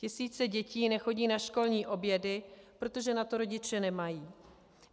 Tisíce dětí nechodí na školní obědy, protože na to rodiče nemají.